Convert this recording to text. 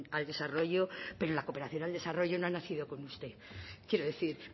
al desarrollo pero la cooperación al desarrollo no ha nacido con usted quiero decir